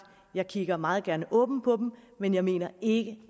kigger jeg meget gerne åbent på dem men jeg mener ikke